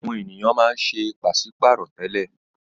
Àwọn ènìyàn máa ń ṣe pàṣí-pààrọ̀ tẹ́lẹ̀.